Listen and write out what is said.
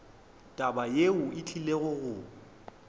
taba yeo e tlile go